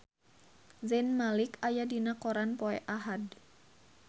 Zayn Malik aya dina koran poe Ahad